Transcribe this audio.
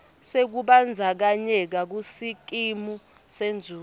sekubandzakanyeka kusikimu senzuzo